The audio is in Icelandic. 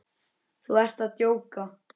Þú ert að djóka?